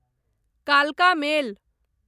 कालका मेल